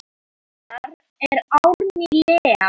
Dóttir hennar er Árný Lea.